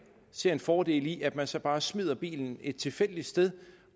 ser en fordel i at man så bare smider bilen et tilfældigt sted